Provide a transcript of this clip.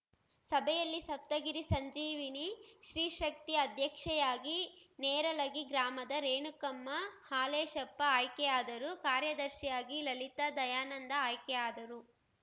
ಸಭೆಯಲ್ಲಿ ಸಪ್ತಗಿರಿ ಸಂಜೀವಿನಿ ಸ್ತ್ರೀಶಕ್ತಿ ಅಧ್ಯಕ್ಷೆಯಾಗಿ ನೇರಲಗಿ ಗ್ರಾಮದ ರೇಣುಕಮ್ಮ ಹಾಲೇಶಪ್ಪ ಆಯ್ಕೆ ಆದರು ಕಾರ್ಯದರ್ಶಿಯಾಗಿ ಲಲಿತಾ ದಯಾನಂದ ಆಯ್ಕೆ ಆದರು